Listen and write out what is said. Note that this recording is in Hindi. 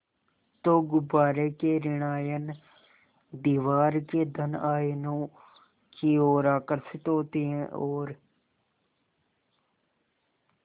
तो गुब्बारे के ॠण आयन दीवार के धन आयनों की ओर आकर्षित होते हैं और